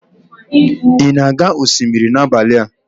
ị na-aga osimiri n'abalị a?